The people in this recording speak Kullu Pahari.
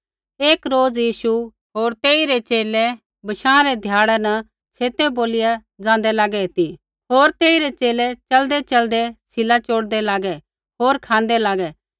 एक रोज़ यीशु होर तेइरै च़ेले बशाँ रै ध्याड़ै न छेतै बोलिया ज़ाँदै लागै ती होर तेइरै च़ेले च़लदैच़लदै सीला चोड़दै लागै होर खाँदै लागै